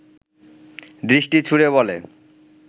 দৃষ্টি ছুড়ে বলে